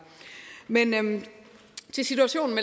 til situationen